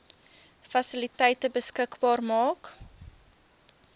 fasiliteite beskikbaar maak